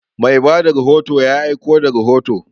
Mai ba da rahoto ya aiko da rahoto.